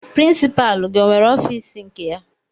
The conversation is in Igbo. Pirinsipalu gị o nwere ọfiisi nke ya?